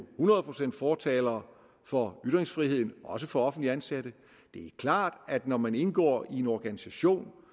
hundrede procent fortalere for ytringsfriheden også for offentligt ansatte det er klart at når man indgår i en organisation